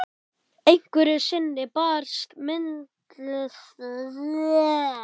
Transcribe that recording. Einhverju sinni bar myndlistarnám mitt á góma og ég sagði